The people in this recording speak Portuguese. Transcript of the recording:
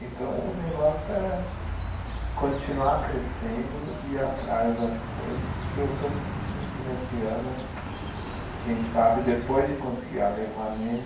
Então, o negócio é continuar crescendo e ir atrás das coisas, porque eu estou sentindo que nesse ano, quem sabe, depois de conseguir a Lei Rouanet,